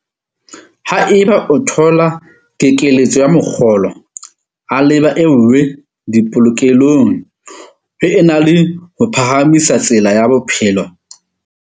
Haeba o thola kekeletso ya mokgolo, abela e nngwe dipolokelong ho e na le ho phahamisa tsela ya bophelo ya ditshenyehelo.